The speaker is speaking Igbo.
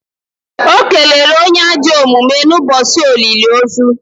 o kelere onye ajọ omume n’ebe olili ozu